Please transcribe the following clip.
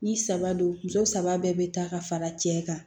Ni saba don muso saba bɛɛ bɛ taa ka fara cɛ kan